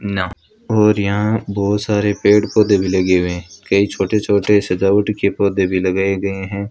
ना और यहां बहुत सारे पेड़ पौधे भी लगे हुए कई छोटे छोटे सजावट के पौधे भी लगाए गए हैं।